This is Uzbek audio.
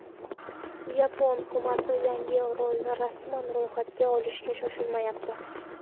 Yapon hukumati yangi orolni rasman ro‘yxatga olishga shoshilmayapti.